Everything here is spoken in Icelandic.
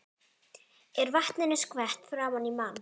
Er vatninu skvett framan í mann.